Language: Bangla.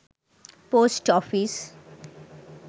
post office